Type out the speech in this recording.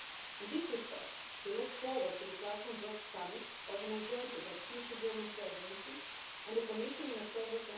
In this respect, we look forward to the platform work summit organised jointly by the future German Presidency and the Commission in October